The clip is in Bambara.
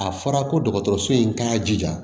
A fɔra ko dɔgɔtɔrɔso in k'a jija